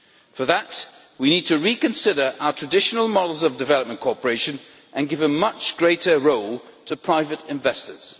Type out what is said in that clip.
For that, we need to reconsider our traditional models of development cooperation and give a much greater role to private investors.